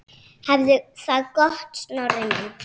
Hafðu það gott, Snorri minn.